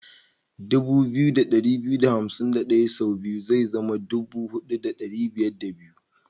2251 sau biyu zai zama 4502.